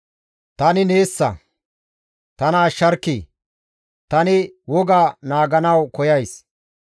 Tani neessa; tana ashsharkkii! tani woga naaganawu koyays.